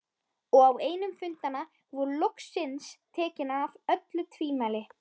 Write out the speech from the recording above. Og á einum fundanna voru loksins tekin af öll tvímæli.